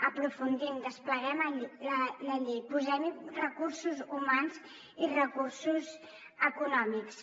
aprofundim despleguem la llei posem hi recursos humans i recursos econòmics